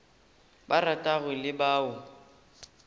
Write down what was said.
ba ratago le ba o